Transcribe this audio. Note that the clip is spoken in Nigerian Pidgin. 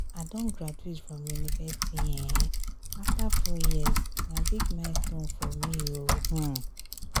i don graduate from university um afta four years na big milestone for me o. um